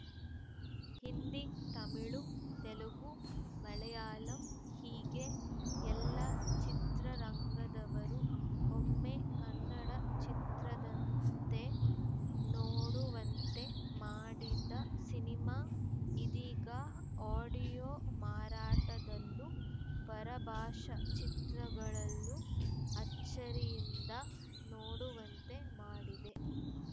ಹಿಂದಿ ತಮಿಳು ತೆಲುಗು ಮಲಯಾಳಂ ಹೀಗೆ ಎಲ್ಲಾ ಚಿತ್ರರಂಗದವರೂ ಒಮ್ಮೆ ಕನ್ನಡ ಚಿತ್ರದಂತೆ ನೋಡುವಂತೆ ಮಾಡಿದ ಸಿನಿಮಾ ಇದೀಗ ಆಡಿಯೋ ಮಾರಾಟದಲ್ಲೂ ಪರಭಾಷಾ ಚಿತ್ರಗಳು ಅಚ್ಚರಿಯಿಂದ ನೋಡುವಂತೆ ಮಾಡಿದೆ